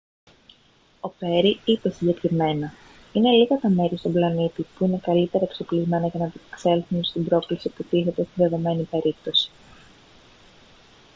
ο πέρι είπε συγκεκριμένα: «είναι λίγα τα μέρη στον πλανήτη που είναι καλύτερα εξοπλισμένα για να ανταπεξέλθουν στην πρόκληση που τίθεται στη δεδομένη περίπτωση»